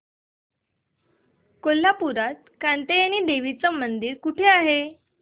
कोल्हापूरात कात्यायनी देवी मंदिर कुठे आहे